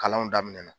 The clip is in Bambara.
Kalanw daminɛ na